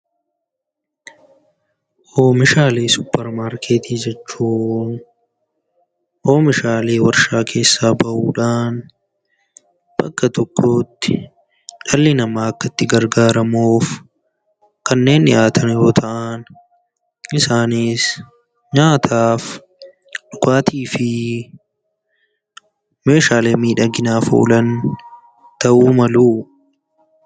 Oomishaalee supermarketii jechuun oomishaalee warshaa keessaa ba'uudhaan bakka tokkotti dhalli namaa kan itti gargaaramuuf kanneen dhiyaatan yammuu ta'an isaannis nyaataaf, dhugaatii fi meeshaalee miidhaginaaf oolan ta'uu malu.